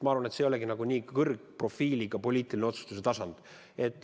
Ma arvan, et see ei olegi nii kõrge profiiliga poliitilise otsustuse tasand.